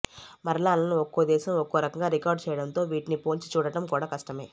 మరణాలను ఒక్కోదేశం ఒక్కో రకంగా రికార్డు చేయడంతో వీటిని పోల్చి చూడటం కూడా కష్టమే